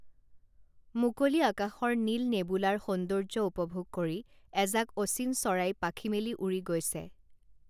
মুকলি আকাশৰ নীল নেবুলাৰ সৌন্দৰ্য্য উপভোগ কৰি এজাক অচিন চৰাই পাখি মেলি উৰি গৈছে